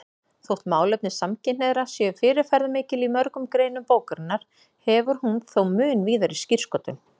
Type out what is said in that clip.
Þótt málefni samkynhneigðra séu fyrirferðarmikil í mörgum greinum bókarinnar hefur hún þó mun víðari skírskotun.